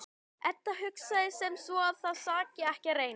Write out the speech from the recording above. Edda hugsar sem svo að það saki ekki að reyna.